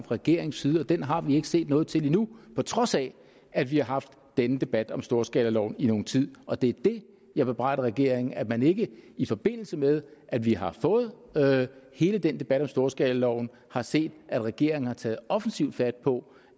regeringens side og den har vi ikke set noget til endnu på trods af at vi har haft denne debat om storskalaloven i nogen tid og det det jeg bebrejder regeringen er at man ikke i forbindelse med at vi har fået hele den debat om storskalaloven har set at regeringen har taget offensivt fat på